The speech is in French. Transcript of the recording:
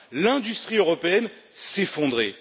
l'industrie européenne s'effondrer.